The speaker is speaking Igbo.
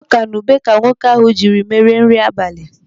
Ọka na ube ka nwoke ahụ jiri mere nri abalị.